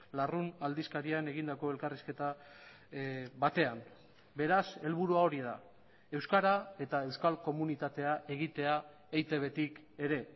larrun aldizkarian egindako elkarrizketa batean beraz helburua hori da euskara eta euskal komunitatea egitea eitbtik ere